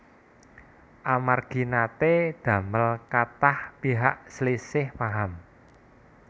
Amargi naté ndamel kathah pihak slisih paham